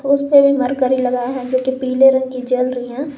उस पे भी मरकरी लगा है जो कि पीले रंग की जल रही हैं।